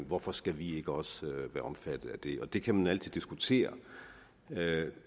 hvorfor skal vi ikke også være omfattet af det og det kan man altid diskutere